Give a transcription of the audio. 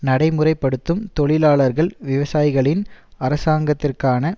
நடைமுறைப்படுத்தும் தொழிலாளர்கள் விவசாயிகளின் அரசாங்கத்திற்கான